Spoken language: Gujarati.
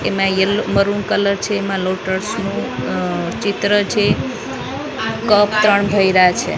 એમાં યેલ્લો મરુંન કલર છે એમાં લોટસ નું અઅઅ ચિત્ર છે કપ ત્રણ ભર્યા છે.